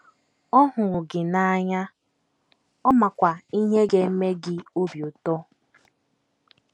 Ọ hụrụ gị n’anya, ọ makwa ihe ga - eme gị obi ụtọ.